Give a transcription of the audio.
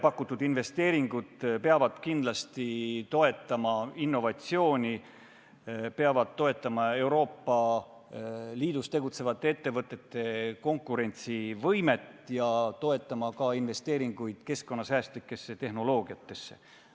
Pakutud investeeringud peavad kindlasti toetama innovatsiooni, peavad toetama Euroopa Liidus tegutsevate ettevõtete konkurentsivõimet ja toetama ka investeeringuid keskkonnasäästlikesse tehnoloogiatesse.